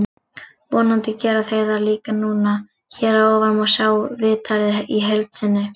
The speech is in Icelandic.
Vonandi gera þeir það líka núna. Hér að ofan má sjá viðtalið í heild sinni.